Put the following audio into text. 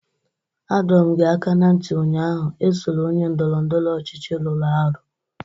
Adọ m gị aka na ntị ụnyaahụ, esola onye ndọrọ ndọrọ ọchịchị rụrụ arụ!